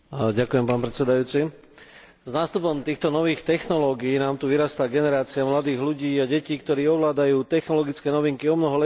S nástupom týchto nových technológií nám tu vyrastá generácia mladých ľudí a detí, ktoré ovládajú technologické novinky omnoho lepšie ako ich rodičia a pedagógovia.